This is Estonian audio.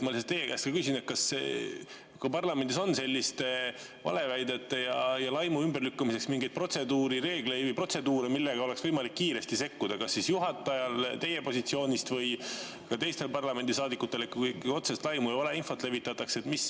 Ma nüüd teie käest küsin, kas parlamendis on selliste valeväidete ja laimu ümberlükkamiseks mingeid reegleid või protseduure, mille alusel oleks võimalik kiiresti sekkuda kas juhatajal või teistel parlamendisaadikutel, kui otsest laimu või valeinfot levitatakse.